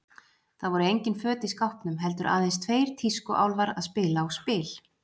Það voru engin föt í skápnum, heldur aðeins tveir tískuálfar að spila á spil.